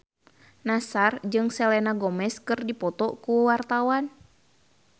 Nassar jeung Selena Gomez keur dipoto ku wartawan